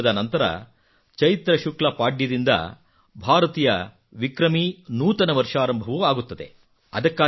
ಹೋಳಿ ಹಬ್ಬದ ನಂತರ ಚೈತ್ರ ಶುಕ್ಲ ಪಾಡ್ಯದಿಂದ ಭಾರತೀಯ ವಿಕ್ರಮೀ ನೂತನ ವರ್ಷಾರಂಭವೂ ಆಗುತ್ತದೆ